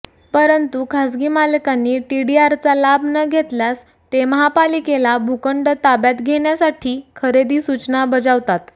परंतु खासगी मालकांनी टीडीआरचा लाभ न घेतल्यास ते महापालिकेला भूखंड ताब्यात घेण्यासाठी खरेदी सूचना बजावतात